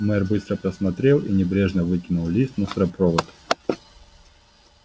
мэр быстро просмотрел и небрежно выкинул лист в мусоропровод